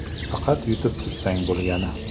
Faqat yutib tursang bo‘lgani.